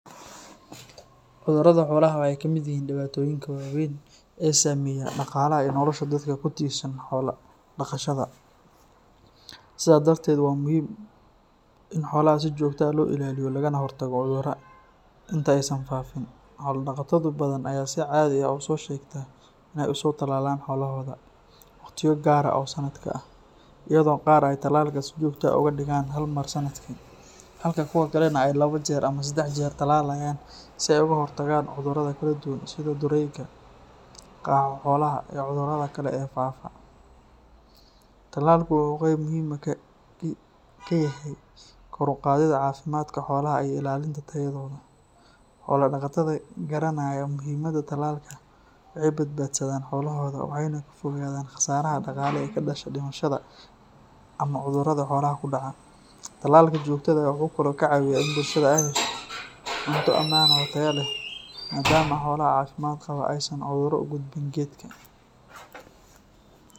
Cudurrada xoolaha waxay ka mid yihiin dhibaatooyinka waaweyn ee saameeya dhaqaalaha iyo nolosha dadka ku tiirsan xoolo-dhaqashada. Sidaa darteed, waa muhiim in xoolaha si joogto ah loo ilaaliyo lagana hortago cudurrada inta aysan faafin. Xoolo-dhaqato badan ayaa si caadi ah usoo sheegta in ay usoo talaalaan xoolahooda waqtiyo gaar ah oo sanadka ah, iyadoo qaar ay talaalka si joogto ah uga dhigaan hal mar sanadkii, halka kuwa kalena ay laba jeer ama saddex jeer talaalaan si ay uga hortagaan cudurrada kala duwan sida durayga, qaaxo-xoolaha, iyo cudurrada kale ee faafa. Talaalku wuxuu qayb muhiim ah ka yahay kor u qaadidda caafimaadka xoolaha iyo ilaalinta tayadooda. Xoolo-dhaqatada garanaya muhiimada talaalka waxay badbaadsadaan xoolahooda waxayna ka fogaadaan khasaaraha dhaqaale ee ka dhasha dhimashada ama cudurrada xoolaha ku dhaca. Talaalka joogtada ah wuxuu kaloo ka caawiyaa in bulshada ay hesho cunto ammaan ah oo tayo leh, maadaama xoolaha caafimaad qaba aysan cudurro u gudbin geddka.